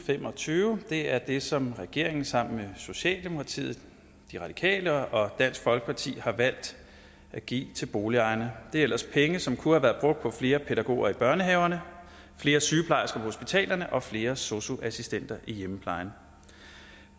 fem og tyve er det som regeringen sammen med socialdemokratiet de radikale og dansk folkeparti har valgt at give til boligejerne det er ellers penge som kunne have været brugt på flere pædagoger i børnehaverne flere sygeplejersker på hospitalerne og flere sosu assistenter i hjemmeplejen